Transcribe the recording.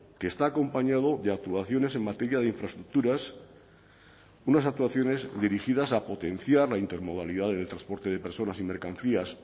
que está acompañado de actuaciones en materia de infraestructuras unas actuaciones dirigidas a potenciar la intermodalidad del transporte de personas y mercancías